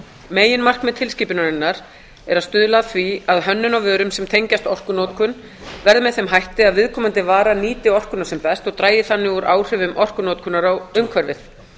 meginmarkmið tilskipunarinnar er að stuðla að því að hönnun á vörum sem tengjast orkunotkun verði með þeim hætti að viðkomandi vara nýti orkuna sem best og dragi þannig úr áhrifum orkunotkunar á umhverfið